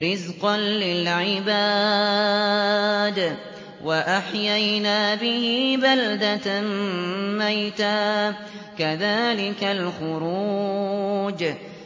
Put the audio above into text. رِّزْقًا لِّلْعِبَادِ ۖ وَأَحْيَيْنَا بِهِ بَلْدَةً مَّيْتًا ۚ كَذَٰلِكَ الْخُرُوجُ